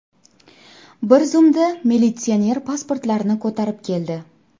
Bir zumda militsioner pasportlarni ko‘tarib keldi.